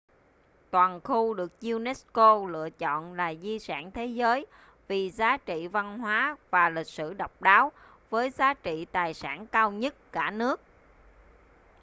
toàn khu được unesco lựa chọn là di sản thế giới vì giá trị văn hóa và lịch sử độc đáo với giá trị tài sản cao nhất cả nước